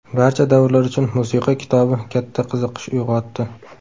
Barcha davrlar uchun musiqa” kitobi katta qiziqish uyg‘otdi.